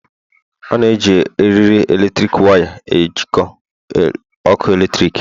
A na-eji eriri eletrik waya ejikọọ ọkụ eletrik